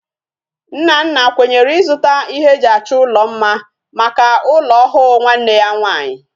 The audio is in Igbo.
Nnanna kwenyere izuta ihe eji acho ulo mma Maka ulo ohu nwanne ya nwanyi